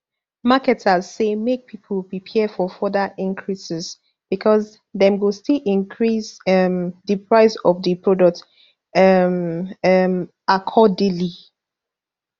marketers say make pipo prepare for further increases becos dem go still increase um di price of di products um um accordingly